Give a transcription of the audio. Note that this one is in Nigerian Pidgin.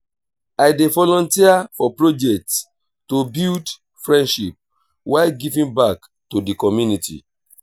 i dey volunteer for projects to build friendships while giving back to the community.